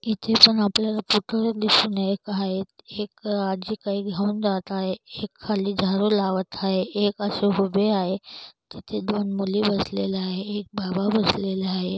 एक आजी काय घेऊन जात आहे एक खाली झाडू लावत आहे. एक अशी उभी आहे. तिथे दोन मुली बसलेल्या आहे एक बाबा बसलेला आहे.